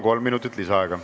Kolm minutit lisaaega.